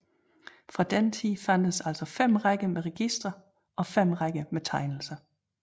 Fra denne tid fandtes altså 5 rækker med registre og 5 rækker med tegnelser